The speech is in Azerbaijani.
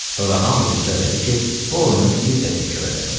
Sonra hamı rica elədi ki, o oyunu bir də təkrar eləsin.